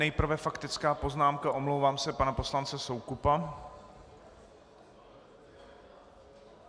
Nejprve faktická poznámka, omlouvám se, pana poslance Soukupa.